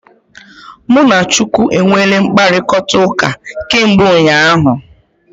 Mụ na Chukwu e nweele mkpakọrịtaụka kemgbe ụnyaahụ.